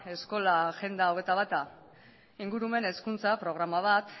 eskola agenda hogeita bata ingurumen hezkuntza programa bat